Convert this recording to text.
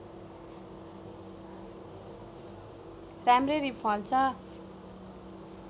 राम्ररी फल्छ